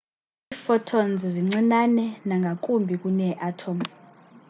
iiphotons zincinane nangakumbi kunee-atom